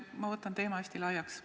Ma ajan teema hästi laiaks.